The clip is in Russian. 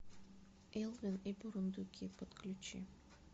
элвин и бурундуки подключи